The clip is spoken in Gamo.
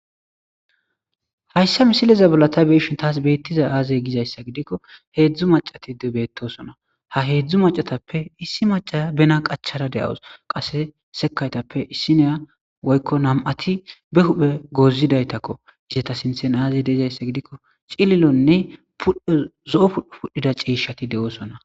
hayssa misileza bolata beishin taas beettiza aazey gizayssa gidikko heedzdzu macati debeettosona ha heedzdzu macatappe issi maca bena qachara de7awos qase sekaytappe issineya woykko nam7ati be huphe gozidaytakko izeta sinthen aazey deezayssa gidikko cililonne uddzo7o pudhu pudhdhida ciishati de7oosona